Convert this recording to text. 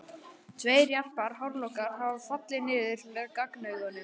Tveir jarpir hárlokkar hafa fallið niður með gagnaugunum.